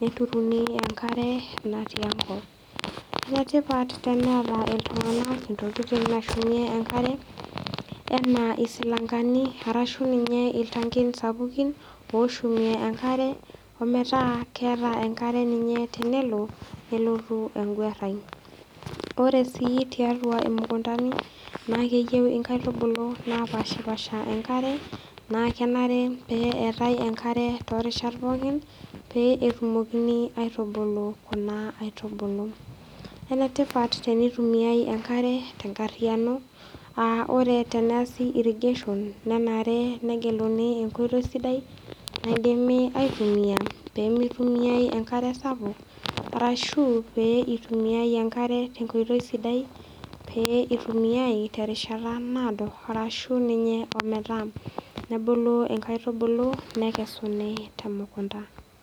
neturuni enkare naa tiakop. Enetipat teneata iltung'ana intokitin nashumie enkare anaa isilangali, arashu ninye iltangin sapuki oshumie enkare metaa keata enkare ninye tenelo nelotu enguarai. Ore sii tiatua imukundani, naa keyeu inkaitubulu napaashipaasha enkare, naa kenare pee eatai enkare too rishat pookin pee etumokini aitubulu kuna aitubulu. Enetipat teneitumiai enkare tenkaryiano a ore teneasi irrigation naa kenare neitumiai enkoitoi sidai naidimi aitumia peemeitumiai enkare sapuk arashu pee eitumiai enkare tenkoitoi sidai peitumiai terishata naado arashu ninye ometaa nebulu inkaitublu nekesuni temukunda.